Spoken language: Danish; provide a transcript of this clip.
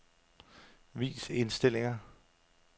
Vis indstillinger.